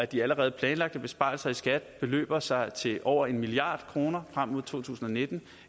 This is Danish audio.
de allerede planlagte besparelser i skat beløber sig til over en milliard kroner frem mod to tusind og nitten